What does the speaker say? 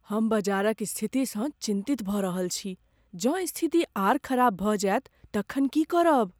हम बजारक स्थितिसँ चिन्तित भऽ रहल छी। जँ स्थिति आर खराब भऽ जायत तखन की करब?